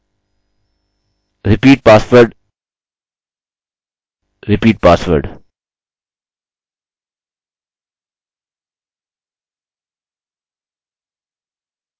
इस समय इसके कार्य न करने का कारण है कि एक md5 वैल्यू कुछ नहीं टेक्स्ट के md5 स्ट्रिंग के बराबर है टेक्स्ट की एक एन्क्रिप्टेड स्ट्रिंग